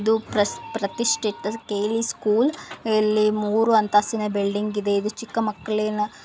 ಇದು ಕೆ.ಯಲ್ಲ.ಈ ಸ್ಕೂಲ್ಕೆ ಯಲ್ಲಿ ಮೂರು ಅಂತಸ್ತಿನ ಬಿಲ್ಡಿಂಗ ಇದೆ ಚಿಕ್ಕ ಮಕ್ಕಳಿನ --